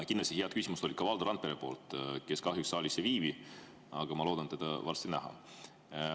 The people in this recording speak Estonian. Kindlasti head küsimused olid ka Valdo Randperel, kes kahjuks saalis ei viibi, aga ma loodan teda varsti näha.